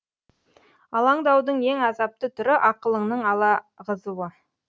алаңдаудың ең азапты түрі ақылыңның алағызуы